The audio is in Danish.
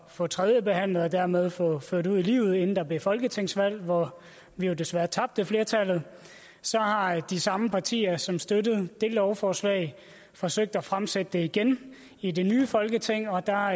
få tredjebehandlet og dermed få ført ud i livet inden der blev folketingsvalg hvor vi jo desværre tabte flertallet så har de samme partier som støttede det lovforslag forsøgt at fremsætte det igen i det nye folketing og der